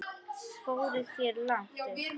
Fóruð þér langt upp?